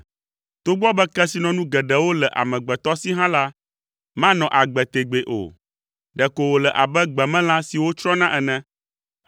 Togbɔ be kesinɔnu geɖewo le amegbetɔ si hã la, manɔ agbe tegbee o, ɖeko wòle abe gbemelã siwo tsrɔ̃na ene.